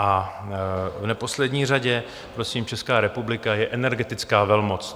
A v neposlední řadě, prosím, Česká republika je energetická velmoc.